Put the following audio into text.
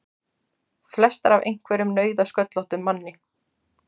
Flestar af einhverjum nauðasköllóttum manni!